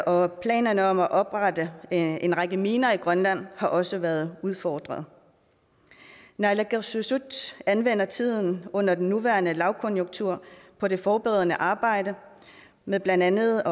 og planerne om at oprette en række miner i grønland har også været udfordret naalakkersuisut anvender tiden under den nuværende lavkonjunktur på det forberedende arbejde med blandt andet